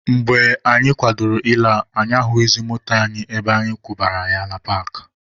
Mgbe anyị kwadoro ịla, anyị ahụghịzị moto anyị ebe anyị kwụbara ya na paakị.